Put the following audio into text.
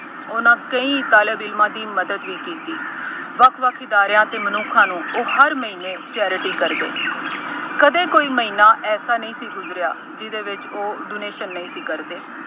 ਉਹਨਾ ਕਈ ਤਾਲੇਬਿਨਾ ਦੀ ਮਦਦ ਵੀ ਕੀਤੀ। ਵੱਖ ਵੱਖ ਅਦਾਰਿਆਂ ਅਤੇ ਮਨੱਖਾਂ ਨੂੰ ਉਹ ਹਰ ਮਹੀਨੇ charity ਕਰਦੇ। ਕਦੇ ਕੋਈ ਮਹੀਨਾ ਐਸਾ ਨਹੀਂ ਸੀ ਗੁਜ਼ਰਿਆ ਜਿਹਦੇ ਵਿੱਚ ਉਹ donation ਨਹੀਂ ਸੀ ਕਰਦੇ।